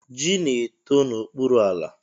Ji na-eto n'okpuru ala.